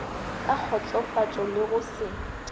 ka kgotsofatšo le go se